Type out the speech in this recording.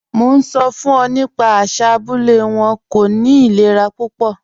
Mo n sọ fun ọ nípa àṣà abúlẹ̀ wọn, kò ní ìlẹ̀rà púpọ̀.